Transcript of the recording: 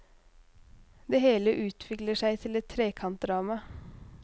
Det hele utvikler seg til et trekantdrama.